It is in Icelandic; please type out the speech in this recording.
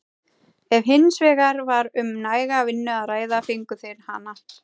Ef hins vegar var um næga vinnu að ræða fengu þeir hana.